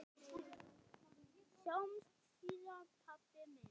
Sjáumst síðar, pabbi minn.